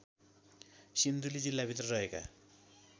सिन्धुली जिल्लाभित्र रहेका